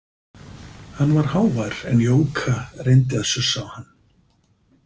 Hann var hávær en Jóka reyndi að sussa á hann.